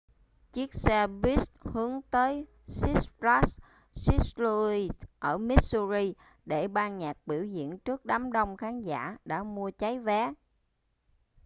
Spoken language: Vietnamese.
chiếc xe buýt hướng tới six flags st louis ở missouri để ban nhạc biểu diễn trước đám đông khán giả đã mua cháy vé